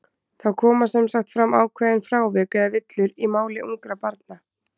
Það koma sem sagt fram ákveðin frávik, eða villur, í máli ungra barna.